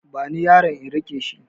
Bani yaron in riƙe shi